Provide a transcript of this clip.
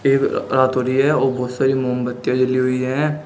रात हो रही है और बहोत सारी मोमबत्तीया जली हुई हैं।